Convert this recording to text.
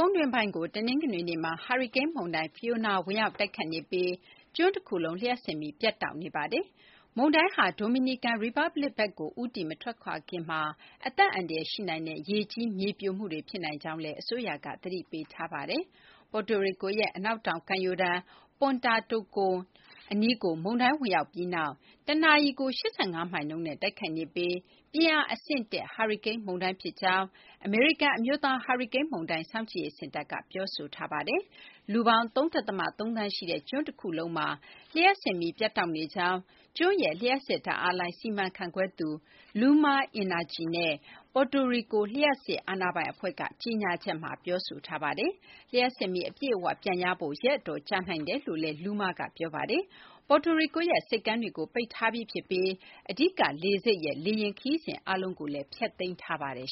ုန်းတွင်းပိုင်းကို တနင်္ဂနွေနေ့မှာ ဟာရီကိန်း မုန်တိုင်း Fiona ဝင်ရောက် တိုက်ခတ်နေပြီး ကျွန်းတခုလုံး လျှပ်စစ်မီး ပြတ်တောက်နေပါတယ်။ မုန်တိုင်းဟာ ဒိုမီနီကန် ရီပတ်ပလစ်ကို ဦးတည် မထွက်ခွာခင်မှာ အသက်အန္တရာယ် ရှိနိုင်တဲ့ ရေကြီး မြေပြိုမှုတွေ ဖြစ်နိုင်ကြောင်းလည်း အစိုးရက သတိပေးထားပါတယ်။ Puerto Rico ရဲ့ အနောက်တောင် ကမ်းရိုးတန်း Punta Tocon အနီးကို မုန်တိုင်း ဝင်ရောက်လာပြီး တနာရီကို ၈၅ မိုင်နှုန်းနဲ့ တိုက်ခတ်နေပြီး ပြင်းအား အဆင့် ၁ ဟာရီကိန်း မုန်တိုင်း ဖြစ်ကြောင်း အမေရိကန် အမျိုးသား ဟာရီကိန်း မုန်တိုင်းစောင့်ကြည့်ရေး စင်တာက ပြောဆိုထားပါတယ်။ လူပေါင်း ၃ ဒသမ ၃ သန်း ရှိတဲ့ ကျွန်း တခုလုံးမှာ လျှပ်စစ်မီး ပြတ်တောက်နေကြောင်း ကျွန်းရဲ့ လျှပ်စစ် ဓာတ်အားလိုင် စီမံခန့်ခွဲသူ LUMA Energy နဲ့ Puerto Rico လျှပ်စစ် အာဏာပိုင် အဖွဲ့က ကြေညာချက်မှာ ပြောဆိုထားပါတယ်။ လျှပ်စစ်မီး အပြည့်အ၀ ပြန်ရဖို့ ရက်အတော်ကြာနိုင်တယ်လို့လည်း LUMA က ပြောဆိုထားပါတယ်။ Puetto Rico ရဲ့ ဆိပ်ကမ်းတွေကို ပိတ်ထားပြီး ဖြစ်ပြီး အဓိက လေဆိပ်ရဲ့ လေယာဉ် ခရီးစဉ် အားလုံးလည်း ဖျက်သိမ်းထားပါတယ်